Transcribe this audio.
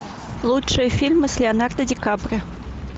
лучшие фильмы с леонардо ди каприо